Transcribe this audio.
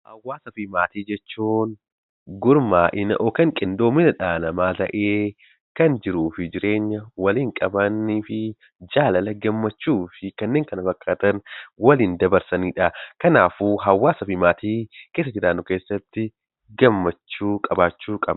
Hawaasa fi maatii jechuun gurmaa'ina yookiin qindoomina dhala namaa ta'ee, kan jiruu fi jireenya waliin qabanii fi jaalala, gammachuu fi kanneen kana fakkaatan waliin dabarsanidha. Kanaafuu hawaasaa fi maatii keessa jiraannu keessatti gammachuu qabaachuu qabna.